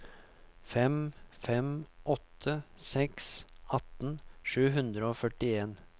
fem fem åtte seks atten sju hundre og førtien